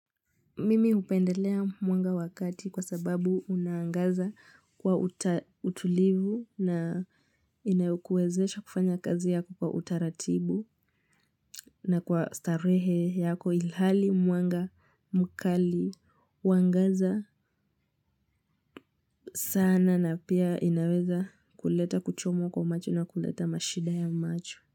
Mimi hupendelea mwanga wa kati kwa sababu unangaaza kwa utulivu na inayokuwezesha kufanya kazi yako kwa utaratibu na kwa starehe yako ilhali mwanga mkali uangaza sana na pia inaweza kuleta kuchomwa kwa macho na kuleta mashida ya macho.